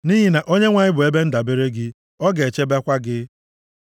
Nʼihi na Onyenwe anyị bụ ebe ndabere gị, ọ ga-echebekwa gị.